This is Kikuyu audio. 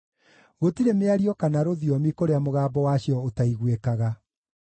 Gũtirĩ mĩario kana rũthiomi kũrĩa mũgambo wacio ũtaiguĩkaga.